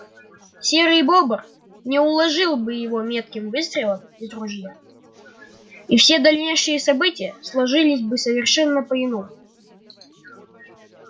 серый бобр не уложил бы его метким выстрелом из ружья и все дальнейшие события сложились бы совершенно по иному